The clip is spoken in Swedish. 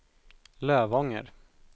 Lövånger